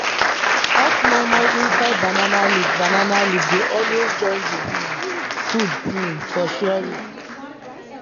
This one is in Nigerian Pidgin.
hot moimoi inside banana leaf banana leaf dey always join the um food um for sharing